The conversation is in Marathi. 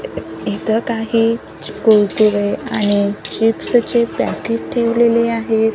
इथं काही कुरकुरे आणि चिप्स चे पॅकेट ठेवलेले आहेत.